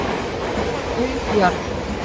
Þar er auð jörð.